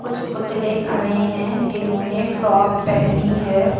कुछ पुतले खड़े हैं जिन्होंने फ्रॉक पहनी है।